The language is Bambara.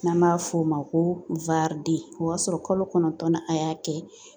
N'an b'a f'o ma ko o b'a sɔrɔ kalo kɔnɔntɔn na a y'a kɛ